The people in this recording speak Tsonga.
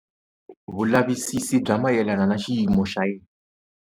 Vulavisisi bya mayelana ni xiyimo xa yena.